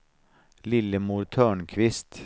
Lillemor Törnqvist